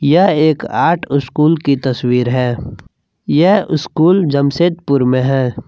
यह एक art school की तस्वीर है यह स्कूल जमशेदपुर में है।